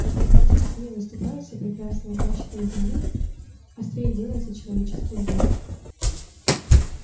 на простоте яснее выступают все прекрасные качества земли острее делается человеческий взгляд